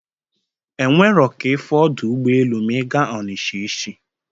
E nwero ka ịfụ ọdọ ụgbọelu ma ị ga onisha echi